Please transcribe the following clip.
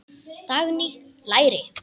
Dagný: Læri.